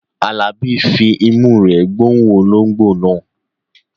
Alabi ń fi imú rẹ̀ gbóòórùn ológbò náà.